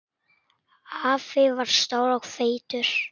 Afi var stór og feitur.